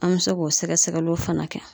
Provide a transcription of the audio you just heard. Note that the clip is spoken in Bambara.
An bɛ se k'o sɛgɛsɛgɛliw fana kɛ.